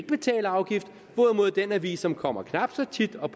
betale afgift hvorimod den avis som kommer knap så tit og